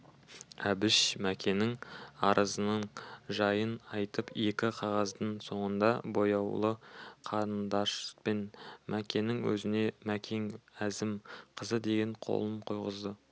әбіш мәкеннің арызының жайын айтып екі қағаздың соңына бояулы қарындашпен мәкеннің өзіне мәкен әзім қызы деген қолын қойғызды